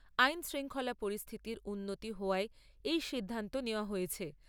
আইন শৃঙ্খলা পরিস্থিতির উন্নতি হওয়ায় এই সিদ্ধান্ত নেওয়া হয়েছে।